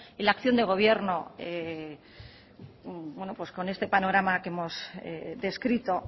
y la acción de gobierno con este panorama que hemos descrito